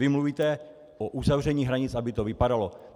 Vy mluvíte o uzavření hranic, aby to vypadalo.